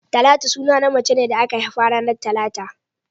Talatu suna ne na macen da aka haifa ranar talata